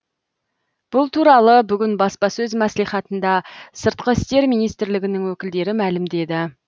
бұл туралы бүгін баспасөз мәслихатында сыртқы істер министрлігінің өкілдері мәлімдеді